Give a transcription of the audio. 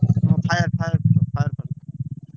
ହଁ fire fire ପାନ ।